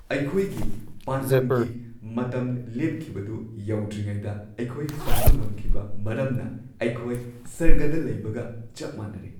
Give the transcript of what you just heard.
ꯑꯩꯈꯣꯏꯒꯤ ꯄꯥꯟꯗꯝꯒꯤ ꯃꯇꯝ ꯂꯦꯞꯈꯤꯕꯗꯨ ꯌꯧꯗ꯭ꯔꯤꯉꯩꯗ ꯑꯩꯈꯣꯏ ꯐꯪꯕ ꯉꯝꯈꯤꯕ ꯃꯔꯝꯅ ꯑꯩꯈꯣꯏ ꯁ꯭ꯋꯔꯒꯗ ꯂꯩꯕꯒ ꯆꯞ ꯃꯥꯟꯅꯔꯦ꯫